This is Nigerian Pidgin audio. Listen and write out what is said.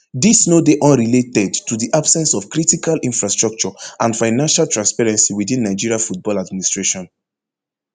dis no dey unrelated to di absence of critical infrastructure and financial transparency within nigeria football administration